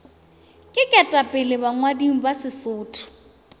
ke ketapele bangwading ba sesotho